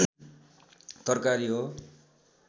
तरकारी हो